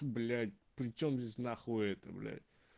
блять причём здесь на хуита эта блять